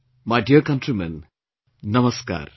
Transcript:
My dear countrymen, Namaskar